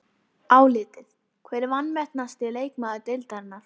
Álitið: Hver er vanmetnasti leikmaður deildarinnar?